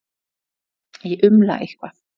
Ég umla eitthvað.